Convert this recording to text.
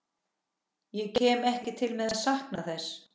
Ég kem ekki til með að sakna þess.